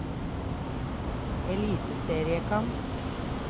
eliteseriekamp